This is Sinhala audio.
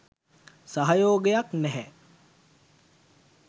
සහයෝගයක් නැහැ